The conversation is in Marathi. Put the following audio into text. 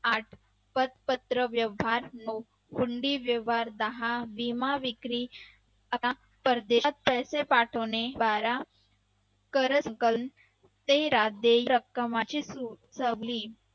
आठ पत्रक व्यवहार कुंडी व्यवहार विमा विक्री परदेशात पैसे पाठवणे बारा ते